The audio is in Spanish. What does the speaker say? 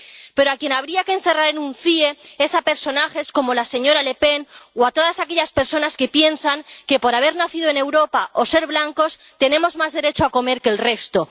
Pero a quien habría que encerrar en un CIE es a personajes como la señora Le Pen o a todas aquellas personas que piensan que por haber nacido en Europa o ser blancos tenemos más derecho a comer que el resto.